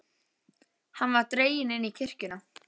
Hann var dreginn inn í kirkjuna.